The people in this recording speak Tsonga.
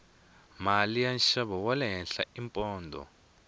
mali ya nxavo wale henhla i pondho